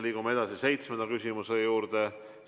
Liigume edasi seitsmenda küsimuse juurde.